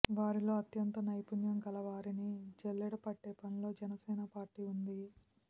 వారిలో అత్యంత నైపుణ్యం కల వారిని జల్లెడ పట్టే పనిలో జనసేన పార్టీ ఉంది